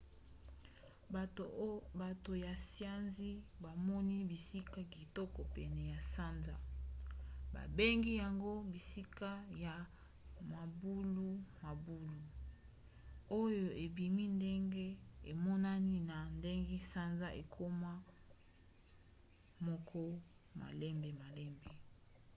bato ya siansi bamoni bisika kitoko pene ya sanza babengi yango bisika ya mabulumabulu oyo ebima ndenge emonani na ndenge sanza ekoma moko malembemalembe